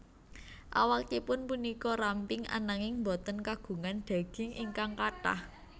Awakipun punika ramping ananging boten kagungan daging ingkang kathah